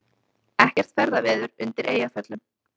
Ekkert ferðaveður undir Eyjafjöllum